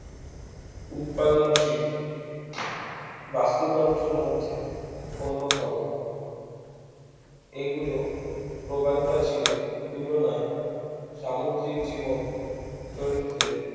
উৎপাদনশীল বাস্তুতন্ত্রের মধ্যে অন্যতম এগুলো প্রবালপ্রাচীরের তুলনায় সামুদ্রিক জীবন চরিত্রে